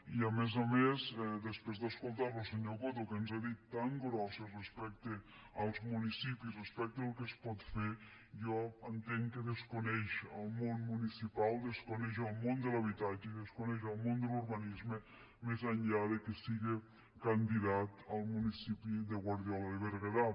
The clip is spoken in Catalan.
i a més a més després d’escoltar lo senyor coto que ens n’ha dit de tan grosses respecte als municipis respecte al que es pot fer jo entenc que desconeix el món municipal desconeix el món de l’habitatge i desconeix el món de l’urbanisme més enllà que siga candidat al municipi de guardiola de berguedà